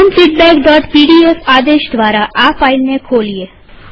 open feedback PDF આદેશ દ્વારા આ ફાઈલ ને ખોલીએ